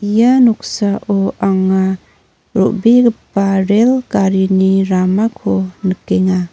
ia noksao anga ro·begipa rel garini ramako nikenga.